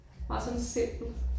Meget sådan simpel